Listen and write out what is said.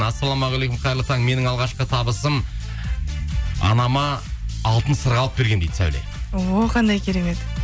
ассалаумағалейкум қайырлы таң менің алғашқы табысым анама алтын сырға алып бергенмін дейді сәуле о қандай керемет